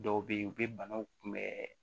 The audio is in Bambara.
Dɔw bɛ yen u bɛ banaw kunbɛn